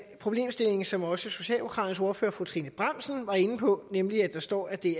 problemstilling som også socialdemokraternes ordfører fru trine bramsen var inde på nemlig at der står at det